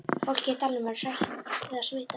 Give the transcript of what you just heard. Fólkið í dalnum er hrætt við að smitast.